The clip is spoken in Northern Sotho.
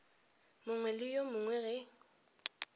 mongwe le yo mongwe ge